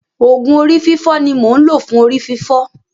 Òògùn orí fífọ́ ni mò ń lò fún orí fífọ́.